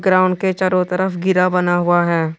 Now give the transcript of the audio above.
Ground के चारों तरफ घेरा बना हुआ है।